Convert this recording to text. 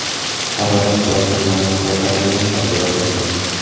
Harorat, bosim, namlik va koronavirus haqida gaplashsak.